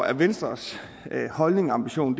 er venstres holdning og ambition